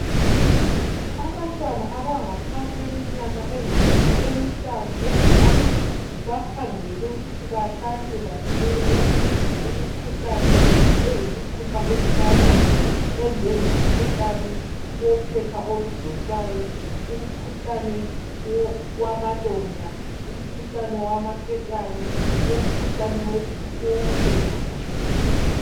Abantwana abangaphansi kweminyaka emihlanu eZimbabwe bakhangelelwe ukuthi bahlatshwe bavikele imikhuhlane eyisithupha ebulalayo enjenge mkhuhlane wophepha oludonsayo, umkhuhlane wamalonda, umkhuhlane wamaketane, umkhuhlane wofuba.